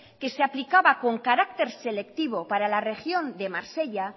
que se aplicaba con carácter selectivo para la región de marsella